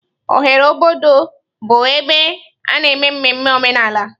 Oghere obodo bụ ebe a na-eme mmemme omenala.